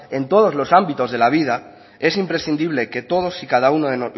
en todos los ámbitos de la vida es imprescindible que todos y cada uno de